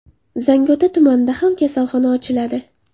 Zangiota tumanida ham kasalxona ochiladi.